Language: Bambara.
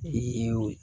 Ee